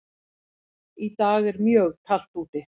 Í dag er mjög kalt úti.